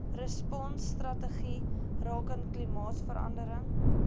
responsstrategie rakende klimaatsverandering